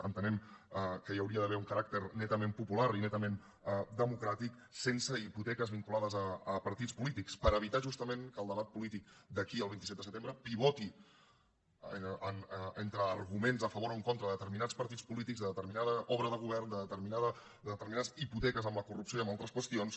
entenem que hi hauria d’haver un caràcter netament popular i netament democràtic sense hipoteques vinculades a partits polítics per evitar justament que el debat polític d’aquí al vint set de setembre pivoti entre arguments a favor o en contra de determinats partits polítics de determinada obra de govern de determinades hipoteques amb la corrupció i amb altres qüestions